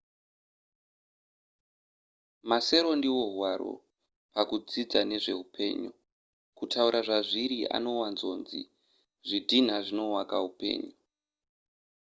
masero ndiwo hwaro pakudzidza nezve upenyu kutaura zvazviri anowanzonzi zvidhina zvinowaka upenyu